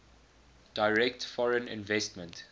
direct foreign investment